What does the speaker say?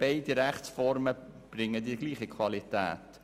Beide Rechtsformen erzielen dieselbe Qualität.